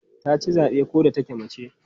Ta ci zabe ko da take mace.